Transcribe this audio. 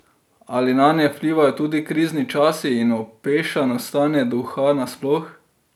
Ali nanje vplivajo tudi krizni časi in opešano stanje duha nasploh?